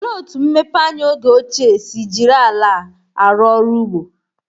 Olee otú mmepeanya oge ochie si jiri ala arụ ọrụ ugbo?